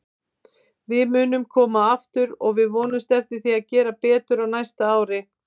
Við munum koma aftur og við vonumst eftir að gera betur á næsta ári.